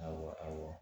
Awɔ